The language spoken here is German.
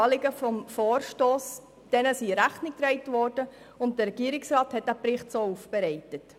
Diesen beiden Leitlinien wurde Rechnung getragen, und der Regierungsrat hat den Bericht dementsprechend aufbereitet.